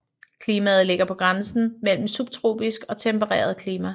Klimaet ligger på grænsen mellem subtropisk og tempereret klima